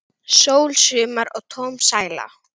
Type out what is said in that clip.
Sól, sumar og tóm sæla!